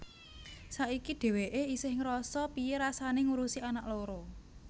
Saiki dheweké esih ngerasa piye rasané ngurusi anak loro